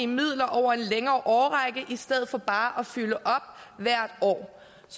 midler over en længere årrække i stedet for bare at fylde op hvert år